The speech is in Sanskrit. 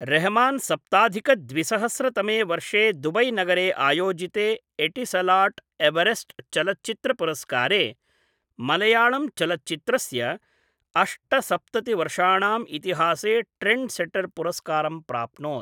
रहमान सप्ताधिक द्विसहस्र तमे वर्षे दुबै नगरे आयोजिते एटिसलाट् एवरेस्ट् चलच्चित्रपुरस्कारे मलयाळम् चलच्चित्रस्य अष्टसप्ततिः वर्षाणाम् इतिहासे ट्रेण्ड्सेटर् पुरस्कारं प्राप्नोत्।